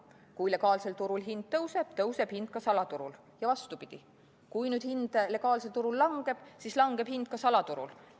Kui legaalsel turul hind tõuseb, tõuseb hind ka salaturul, ja vastupidi – kui hind legaalsel turul langeb, siis langeb hind ka salaturul.